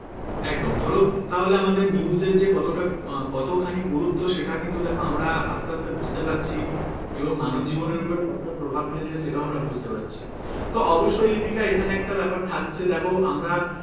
একদম ধরো তাহলে আমাদের news এর যে কতটা আহ কতখানি গুরুত্ত্ব সেটা কিন্তু দেখো আমরা আস্তে আস্তে বুঝতে পারছি এবং মানবজীবনের ওপরে কতটা প্রভাব ফেলছে সেটাও আমরা বুঝতে পারছি তো অবশ্যই লিপিকা এখানে একটা ব্যাপার থাকছে দেখো আমরা